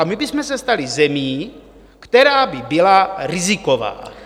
A my bychom se stali zemí, která by byla riziková.